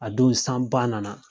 A don san ba nana